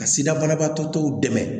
Ka sida banabaatɔ tɔw dɛmɛ